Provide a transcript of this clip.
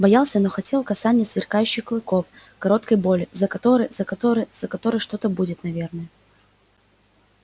боялся но хотел касания сверкающих клыков короткой боли за которой за которой за которой что-то будет наверное